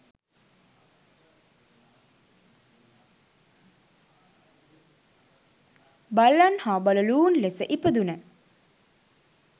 බල්ලන් හා බළලූන් ලෙස ඉපදුන